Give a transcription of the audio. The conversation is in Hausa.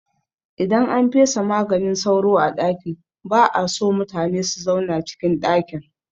Idan an fesa maganin sauro a ɗaki ba'a so mutune su zauna cikin ɗakin